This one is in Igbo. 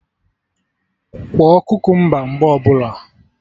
Kwọọ kukumba mgbe ọbụla